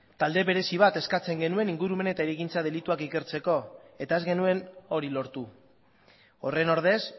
talde berezi bat eskatzen genuen ingurumen eta hirigintza delituak ikertzeko eta ez genuen hori lortu horren ordez